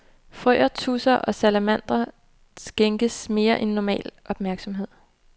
Frøer, tudser og salamandre skænkes mere end normal opmærksomhed.